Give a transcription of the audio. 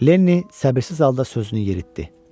Lenli səbirsiz halda sözünü yeritdi.